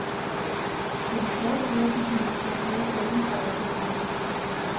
For de stadig flere pessimister havde talen dog også et par lyspunkter.